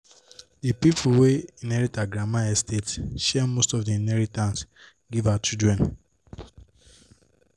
the people wey inherit her grandma estate share most of the inheritance give her children